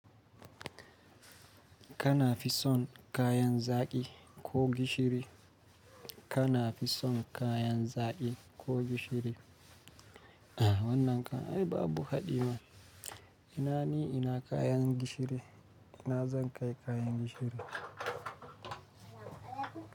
Kana fi son kayan zaƙi ko gishiri? Kana fi son kayan zaƙi ko gishiri? Wannan kai babu haɗima. Ina ni ina kayan gishiri, ina zan kai kayan gishiri.